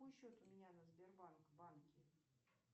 какой счет у меня на сбербанк банке